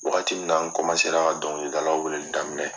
Wagati min na n ra ka dɔnkilidalaw weleli daminɛ.